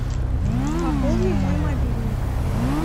пополни мой мобильный